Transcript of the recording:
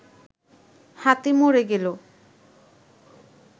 হাতি মরে গেল